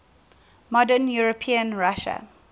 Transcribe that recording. modern european russia